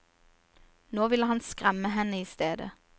Nå vil han skremme henne istedet.